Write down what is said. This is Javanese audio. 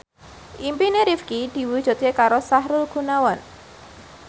impine Rifqi diwujudke karo Sahrul Gunawan